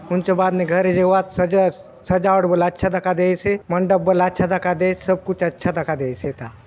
हुन्चो बाद ने घरे जाऊआत सजा सजावट बले अच्छा दखा देयसे मंडप बले अच्छा दखा देयसे सब कुछ अच्छा दखा देयसे एथा --